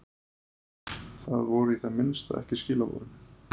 Það voru í það minnsta ekki skilaboðin.